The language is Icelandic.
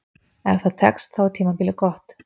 Ef það tekst, þá er tímabilið gott.